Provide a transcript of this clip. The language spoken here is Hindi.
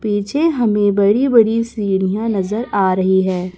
पीछे हमें बड़ी बड़ी सीढियां नजर आ रही है।